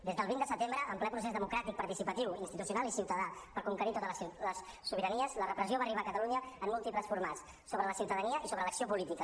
des del vint de setembre en ple procés democràtic participatiu institucional i ciutadà per conquerir totes les sobiranies la repressió va arribar a catalunya en múltiples formats sobre la ciutadania i sobre l’acció política